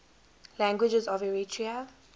languages of eritrea